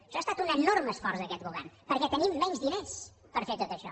això ha estat un enorme esforç d’aquest govern perquè tenim menys diners per fer tot això